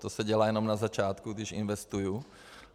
To se dělá jenom na začátku, když investuju.